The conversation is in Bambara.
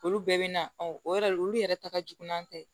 Olu bɛɛ bɛ na o yɛrɛ olu yɛrɛ ta ka jugu n'an tɛ